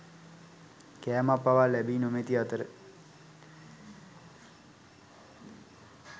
කෑමක් පවා ලැබී නොමැති අතර